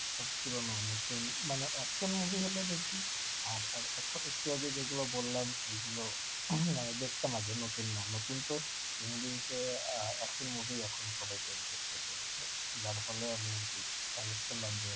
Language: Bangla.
পুরনো নতুন মানে action movie হলে দেখি, আর একটু আগে যেগুলো বললাম, এইগুলো দেখতাম আগে নতুন না, নতুন তো ইংরেজিতে আহ action movies এখন সবাই যারফলে